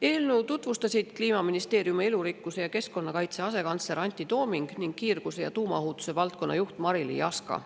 Eelnõu tutvustasid Kliimaministeeriumi elurikkuse ja keskkonnakaitse asekantsler Antti Tooming ning kiirgus- ja tuumaohutuse valdkonna juht Marily Jaska.